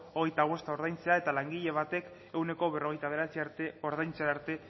hogeita bosta ordaintzea eta langile batek ehuneko berrogeita bederatzia arte ordaintzera arte